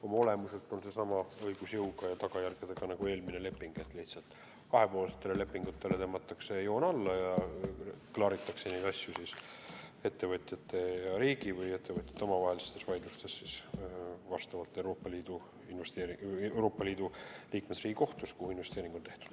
Oma olemuselt on see leping sama õigusjõu ja tagajärgedega nagu eelmine – lihtsalt kahepoolsetele lepingutele tõmmatakse joon alla ja edaspidi klaaritakse neid asju ettevõtjate ja riigi või ettevõtjate omavahelistes vaidlustes vastava Euroopa Liidu liikmesriigi kohtus, kuhu investeering on tehtud.